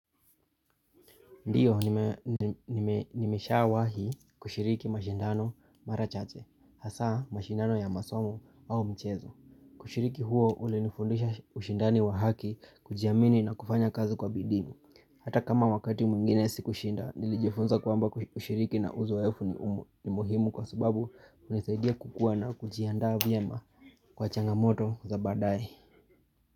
Ndiyo, nimeshawahi kushiriki mashindano mara chache, hasa mashindano ya masomo au mchezo. Ushiriki huo ulinifundisha ushindani wa haki kujiamini na kufanya kazi kwa bidimu. Hata kama wakati mwingine sikushinda, nilijifunza kwamba kushiriki na uzoefu ni muhimu kwa subabu hunisaidia kukua na kujiandaa vyema kwa changamoto za baadae.